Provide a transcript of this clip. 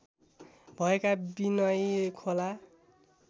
भएका विनयी खोला